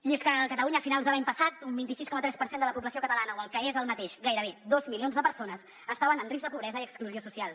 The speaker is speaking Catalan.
i és que a catalunya a finals de l’any passat un vint sis coma tres per cent de la població catalana o el que és el mateix gairebé dos milions de persones estaven en risc de pobresa i exclusió social